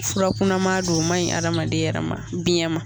Furakunama do o man ɲi adamaden yɛrɛ ma biyɛn ma.